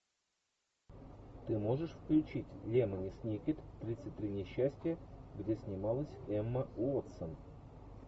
ты можешь включить лемони сникет тридцать три несчастья где снималась эмма уотсон